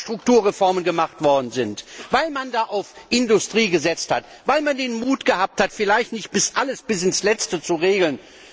Weil dort Strukturreformen durchgeführt worden sind, weil man dort auf Industrie gesetzt hat, weil man den Mut gehabt hat, vielleicht nicht alles bis ins Letzte zu regeln.